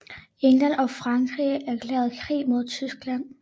England og Frankrig erklærede krig mod Tyskland